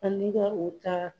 Ani ka o ta